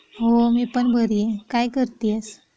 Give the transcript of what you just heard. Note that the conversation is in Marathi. मी पण बरी आहे काय करती आहेस .